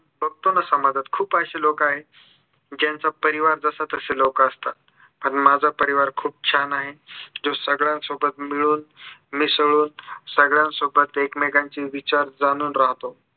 बघतो ना समाजात खूप अशी लोकं आहेत ज्यांचा परिवार जसा तसे लोकं असतात पण माझा परिवार खूप छान आहे जो सगळ्यांसोबत मिळून मिसळून सगळ्यांसोबत एकमेकांचे विचार जाणून राहतो